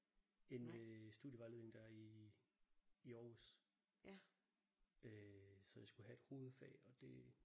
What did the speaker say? Inde ved studievejledningen der i i Aarhus øh så jeg skulle have et hovedfag og det